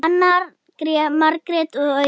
Arnar, Margrét og Auður.